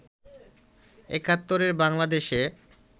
একাত্তরে বাংলাদেশে